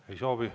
Ei soovi.